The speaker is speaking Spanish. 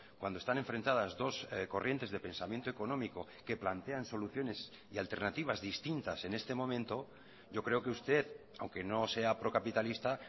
cuando están enfrentadas dos corrientes de pensamiento económico que plantean soluciones y alternativas distintas en este momento yo creo que usted aunque no sea procapitalista